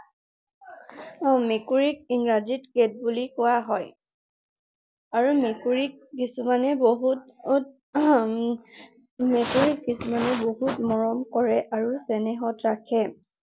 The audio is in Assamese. মেকুৰীক ইংৰাজীত cat বুলি কোৱা হয়। আৰু মেকুৰীক কিছুমানে বহুত, মেকুৰীক কিছুমানে বহুত মৰম কৰে আৰু চেনেহত ৰাখে।